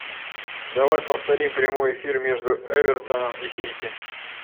давай повторим прямой эфир между эвертоном и сити